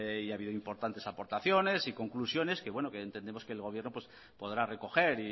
ha habido importantes aportaciones y conclusiones que entendemos que el gobierno podrá recoger